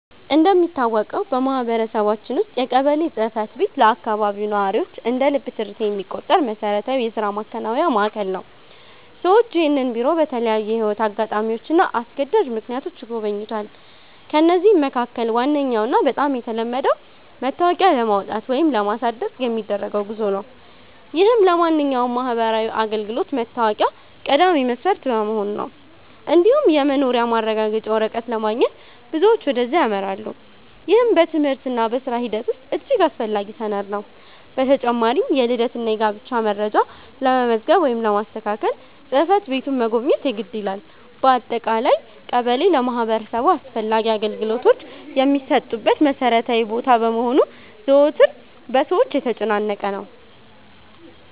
እንደሚታወቀው በማህበረሰባችን ውስጥ የቀበሌ ጽሕፈት ቤት ለአካባቢው ነዋሪዎች እንደ ልብ ትርታ የሚቆጠር መሠረታዊ የሥራ ማከናወኛ ማዕከል ነው። ሰዎች ይህንን ቢሮ በተለያዩ የሕይወት አጋጣሚዎችና አስገዳጅ ምክንያቶች ይጎበኙታል። ከነዚህም መካከል ዋነኛውና በጣም የተለመደው መታወቂያ ለማውጣት ወይም ለማሳደስ የሚደረገው ጉዞ ነው፤ ይህም ለማንኛውም ማህበራዊ አገልግሎት መታወቂያ ቀዳሚ መስፈርት በመሆኑ ነው። እንዲሁም የመኖሪያ ማረጋገጫ ወረቀት ለማግኘት ብዙዎች ወደዚያ ያመራሉ፤ ይህም በትምህርትና በሥራ ሂደት ውስጥ እጅግ አስፈላጊ ሰነድ ነው። በተጨማሪም የልደትና የጋብቻ መረጃ ለመመዝገብ ወይም ለማስተካከል ጽሕፈት ቤቱን መጎብኘት የግድ ይላል። በአጠቃላይ ቀበሌ ለማህበረሰቡ አስፈላጊ አገልግሎቶች የሚሰጡበት መሠረታዊ ቦታ በመሆኑ ዘወትር በሰዎች የተጨናነቀ ነው።